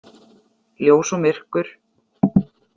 Ljós og myrkur.